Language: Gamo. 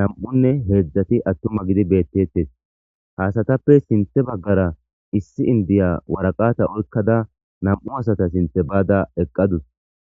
nam,unne heedzdzati attuma gidi beettettes haasatappe sinthe baggara issi indiya waraqata oykkada nam,u asata sinthe baada eqqadus.